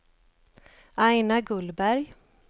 Aina Gullberg